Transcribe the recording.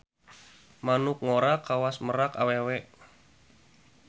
Manuk ngora kawas merak awewe.